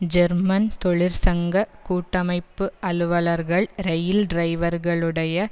German தொழிற்சங்க கூட்டமைப்பு அலுவலர்கள் இரயில் டிரைவர்களுடைய